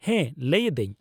ᱦᱮᱸ, ᱞᱟᱹᱭ ᱮᱫᱟᱹᱧ ᱾